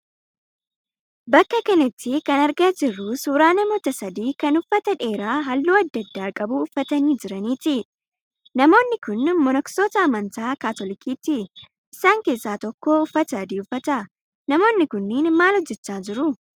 Bakka kanatti kan argaa jirru suuraa namoota sadii kan uffata dheeraa halluu adda addaa qabu uffatanii jiraniiti. Namoonni kunneen monoksoota amantaa Kaatolikiiti. Isaan keessa tokko uffata adii uffata. Namoonni kunniin maal hojjechaa jiru?